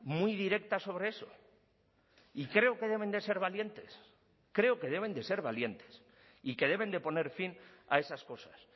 muy directa sobre eso y creo que deben de ser valientes creo que deben de ser valientes y que deben de poner fin a esas cosas